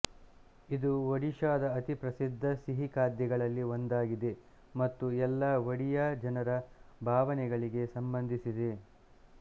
ಇದು ಒಡಿಶಾದ ಅತಿ ಪ್ರಸಿದ್ಧ ಸಿಹಿ ಖಾದ್ಯಗಳಲ್ಲಿ ಒಂದಾಗಿದೆ ಮತ್ತು ಎಲ್ಲ ಒಡಿಯಾ ಜನರ ಭಾವನೆಗಳಿಗೆ ಸಂಬಂಧಿಸಿದೆ